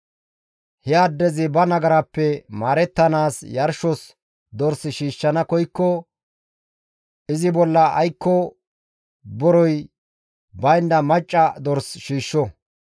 «He addezi ba nagarappe maarettanaas yarshos dors shiishshana koykko izi bolla aykko borey baynda macca dors shiishsho.